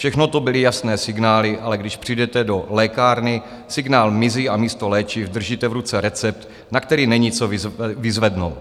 Všechno to byly jasné signály, ale když přijdete do lékárny, signál mizí a místo léčiv držíte v ruce recept, na který není co vyzvednout.